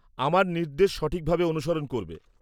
আমার নির্দেশ সঠিকভাবে অনুসরণ করবে।